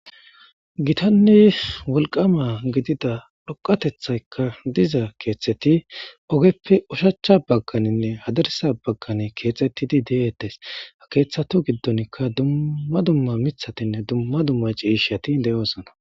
gitanne wolqama gidida dhoqatethaykka diza keeteti ogeppe ushachcha bagganinne hadarsa baggani keexettidi deeetes keeththato giddonkka dumma dumma mithatinne dumma dumma ciishati de7oosna